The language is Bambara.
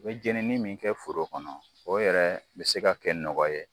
I be jenini min kɛ foro kɔnɔ, o yɛrɛ bi se ka kɛ nɔgɔ ye.